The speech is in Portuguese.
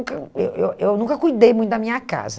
nunca eu eu eu nunca cuidei muito da minha casa.